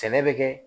Sɛnɛ bɛ kɛ